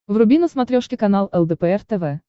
вруби на смотрешке канал лдпр тв